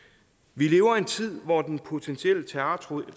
vi lever i en tid hvor den potentielle terrortrussel